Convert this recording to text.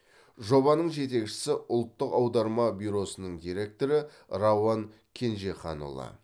жобаның жетекшісі ұлттық аударма бюросының директоры рауанкенжеханұлы